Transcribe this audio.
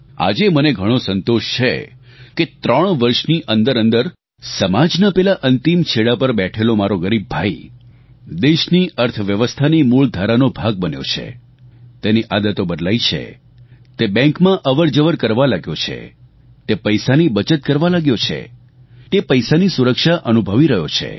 આજે મને ઘણો સંતોષ છે કે ત્રણ વર્ષની અંદરઅંદર સમાજના પેલા અંતિમ છેડા પર બેઠોલો મારો ગરીબ ભાઇ દેશની અર્થવ્યવસ્થાની મૂળધારાનો ભાગ બન્યો છે તેની આદતો બદલાઇ છે તે બેંકમાં અવરજવર કરવા લાગ્યો છે તે પૈસાની બચત કરવા લાગ્યો છે તે પૈસાની સુરક્ષા અનુભવી રહ્યો છે